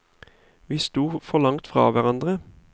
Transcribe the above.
Vi sto for langt fra hverandre.